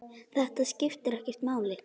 Þetta skiptir ekki máli.